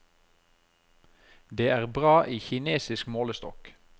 Det er bra i kinesisk målestokk.